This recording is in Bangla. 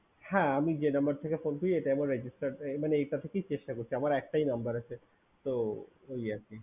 হ্যা আমি যে number ফোন করি এটাই আমার registerd মানে এটা থেকেই চেষ্টা করছি আমার একটাই number আছে তো